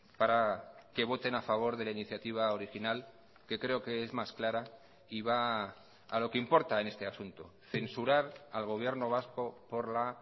para que voten a favor de la iniciativa original que creo que es más clara y va a lo que importa en este asunto censurar al gobierno vasco por la